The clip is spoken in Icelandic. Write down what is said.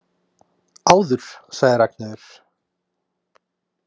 Áður, sagði Ragnheiður.